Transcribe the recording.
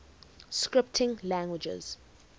scripting languages